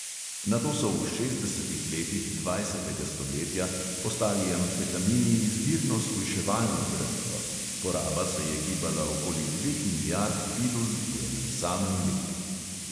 Nato so v šestdesetih letih dvajsetega stoletja postali amfetamini izbirno shujševalno zdravilo; poraba se je gibala okoli dveh milijard pilul v enem samem letu.